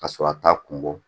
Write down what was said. Ka sɔrɔ a t'a kun bɔ